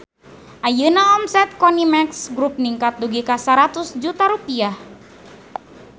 Ayeuna omset Konimex Grup ningkat dugi ka 100 juta rupiah